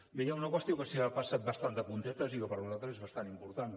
bé hi ha una qüestió que s’hi ha passat bastant de puntetes i que per nosaltres és bastant important